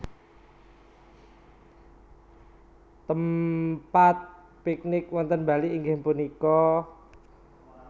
Tempat piknik wonten Bali inggih punika?